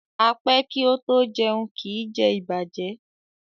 A pé kí o to jẹún, kí jé ìbàjẹ́.